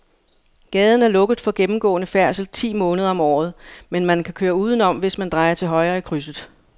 Gaden er lukket for gennemgående færdsel ti måneder om året, men man kan køre udenom, hvis man drejer til højre i krydset.